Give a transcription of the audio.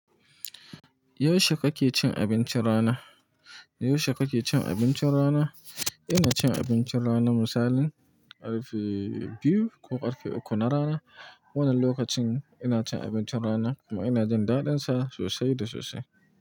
Yaushe kake cin abincin rana? Yaushe kake cin abincin rana? Ina cin abincin rana misalin karfe biyu ko karfe uku na rana. Wannan lokacin ina cin abincin rana kuma ina jin daɗinsa sosai da sosai.